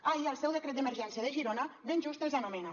ahir el seu decret d’emergència de girona ben just els anomena